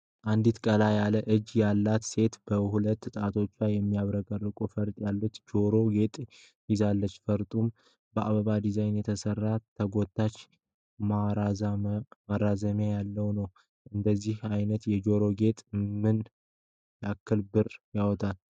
አንዲት ቀላ ያለ እጅ ያላት ሴት በሁለት ጣቷ የሚያብረቀርቅ ፈርጥ ያለው የጆሮ ጌጥ ይዛለች። ፈርጡም በአበባ ዲዛይን የተሰራ ተጎታች ማራዘሚያም ያለው ነው። እንደዚህ አይነት የጆሮ ጌጦች ምን ያክል ብር ያወጣሉ?